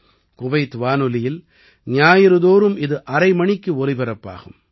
Kuwait வானொலியில் ஞாயிறுதோறும் இது அரை மணிக்கு ஒலிபரப்பாகும்